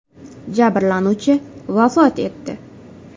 Jabrlanuvchi vafot etdi.